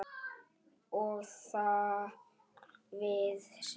Og þar við situr.